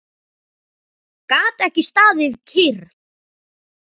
Gat ekki staðið kyrr.